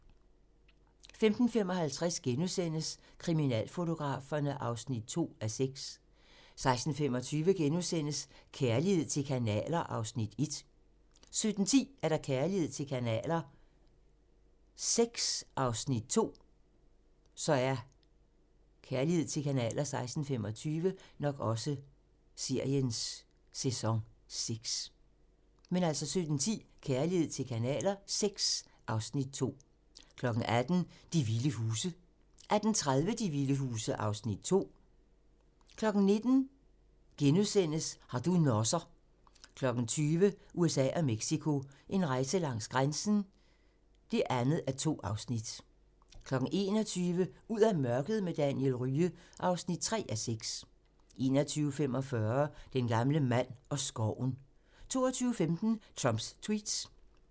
15:55: Kriminalfotograferne (2:6)* 16:25: Kærlighed til kanaler (Afs. 1)* 17:10: Kærlighed til kanaler VI (Afs. 2) 18:00: De vilde huse (tir) 18:30: De vilde huse (Afs. 2) 19:00: Har du nosser? * 20:00: USA og Mexico: En rejse langs grænsen (2:2) 21:00: Ud af mørket med Daniel Rye (3:6) 21:45: Den gamle mand og skoven 22:15: Trumps Tweets